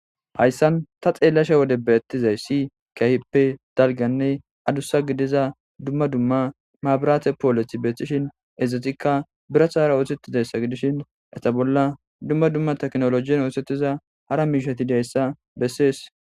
hayssan ta xeellasha wode beettizayssi keahippe dalgganne adussa gidiza dumma dumma maabiraate poolethi beeththishin ezetikka birathahara oosettizayssa gidishin eta bolla dumma dumma teknolojiyen oosettiza hara miishati dayssa bessees.